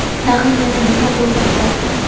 tag‘in yana nima o‘ylab topding.